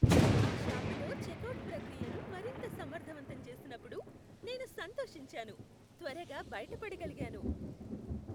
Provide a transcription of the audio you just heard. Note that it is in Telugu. ఆ షాపులో చెక్అవుట్ ప్రక్రియను మరింత సమర్ధవంతం చేసినప్పుడు, నేను సంతోషించాను, త్వరగా బయిటపడగలిగాను.